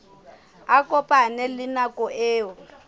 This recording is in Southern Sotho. a kopane le nako eo